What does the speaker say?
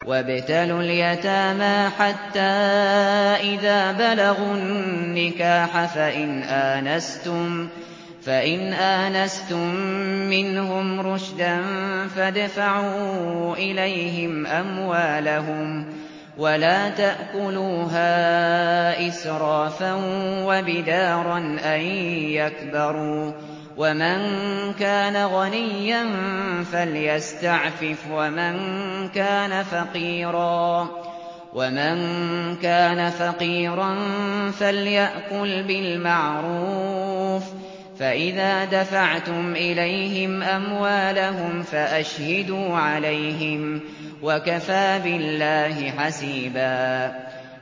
وَابْتَلُوا الْيَتَامَىٰ حَتَّىٰ إِذَا بَلَغُوا النِّكَاحَ فَإِنْ آنَسْتُم مِّنْهُمْ رُشْدًا فَادْفَعُوا إِلَيْهِمْ أَمْوَالَهُمْ ۖ وَلَا تَأْكُلُوهَا إِسْرَافًا وَبِدَارًا أَن يَكْبَرُوا ۚ وَمَن كَانَ غَنِيًّا فَلْيَسْتَعْفِفْ ۖ وَمَن كَانَ فَقِيرًا فَلْيَأْكُلْ بِالْمَعْرُوفِ ۚ فَإِذَا دَفَعْتُمْ إِلَيْهِمْ أَمْوَالَهُمْ فَأَشْهِدُوا عَلَيْهِمْ ۚ وَكَفَىٰ بِاللَّهِ حَسِيبًا